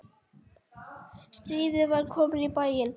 Stríðið var komið í bæinn!